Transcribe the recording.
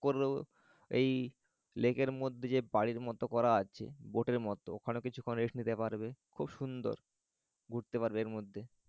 করেও এই lake র মধ্যে যে বাড়ির মত করা আছে boat এর মত ওখানে কিছুক্ষণ rest নিতে পারবে খুব সুন্দর ঘুরতে পারবে এর মধ্যে